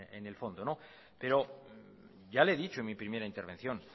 en el fondo pero ya le he dicho en mi primera intervención